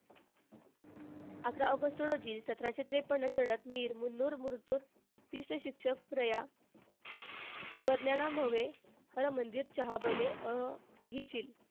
अकरा ऑगस्ट रोजी सतराशे त्रेपन्न चढत मीर मन्नुर मुरतुर शिक्षक हरमंदिर चहाबले अह अहिशील,